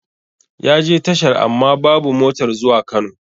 Yaje tashar amma babu motar zuwa Kano